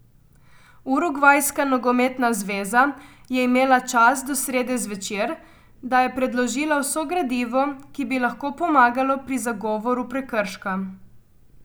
Urugvajska nogometna zveza je imela čas do srede zvečer, da je predložila vso gradivo, ki bi lahko pomagalo pri zagovoru prekrška.